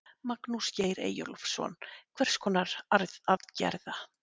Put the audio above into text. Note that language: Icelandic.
Magnús Geir Eyjólfsson: Hvers konar aðgerða?